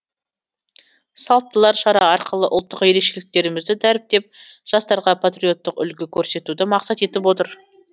салттылар шара арқылы ұлттық ерекшеліктерімізді дәріптеп жастарға патриоттық үлгі көрсетуді мақсат етіп отыр